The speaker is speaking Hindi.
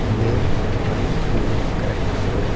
मेल और एक फीमेल करेक्टर को--